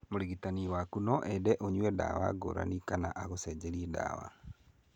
Mũrigitani waku no ende ũnyue ndawa ngũrani kana angũcenjerie ndawa.